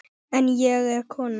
En ég er kona.